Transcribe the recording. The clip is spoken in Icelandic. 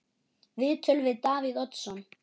Viðtöl við Davíð Oddsson